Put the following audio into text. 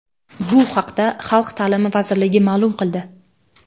Bu haqda Xalq ta’limi vazirligi ma’lum qildi .